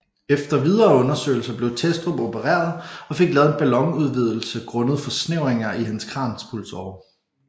Efter videre undersøgelser blev Thestrup opereret og fik lavet en ballonudvidelse grundet forsnævringer i hans kranspulsåre